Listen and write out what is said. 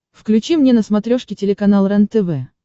включи мне на смотрешке телеканал рентв